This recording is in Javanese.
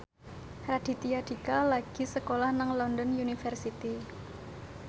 Raditya Dika lagi sekolah nang London University